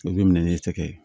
O bɛ minɛ ne fɛ